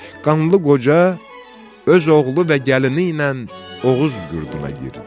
Qanlı qoca öz oğlu və gəlini ilə Oğuz yurduna yirdi.